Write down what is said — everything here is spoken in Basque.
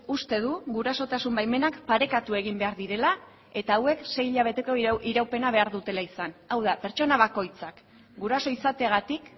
uste du gurasotasun baimenak parekatu egin behar direla eta hauek sei hilabeteko iraupena behar dutela izan hau da pertsona bakoitzak guraso izateagatik